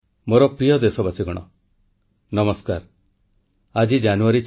• ସାମାଜିକ ପରିବର୍ତ୍ତନ ପାଇଁ ଆଲୋଚନାର ମଞ୍ଚ ପାଲଟିଛି ମନ କୀ ବାତ୍ ପ୍ରଧାନମନ୍ତ୍ରୀ